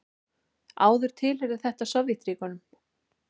Áður tilheyrði þetta svæði Sovétríkjunum.